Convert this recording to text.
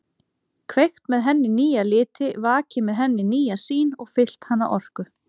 Kveikt með henni nýja liti, vakið með henni nýja sýn og fyllt hana orku.